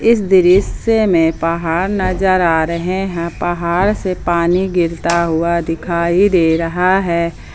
इस दृश्य में पहाड़ नजर आ रहे हैं पहाड़ से पानी गिरता हुआ दिखाई दे रहा है।